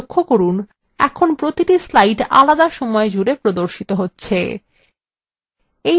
লক্ষ্য করুন এখন প্রতিটি slide আলাদা সময় ধরে প্রদর্শিত হচ্ছে